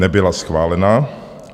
Nebyla schválena.